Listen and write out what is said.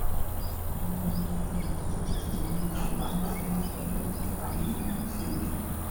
owó náírà àwọn aṣòfin fee fọlọpàá gbé emefèlete